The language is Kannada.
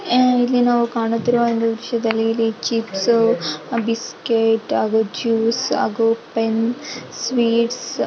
ಇಲ್ಲಿ ನಾವು ಕಾಣುತ್ತಿರುವ ದೃಶ್ಯದಲ್ಲಿ ಇಲ್ಲಿ ಚಿಪ್ಸು ಬಿಸ್ಕೆಟ್ ಹಾಗೂ ಜ್ಯೂಸ್ ಹಾಗೂ ಪೆನ್ನು ಸ್ವೀಟ್ಸ್ --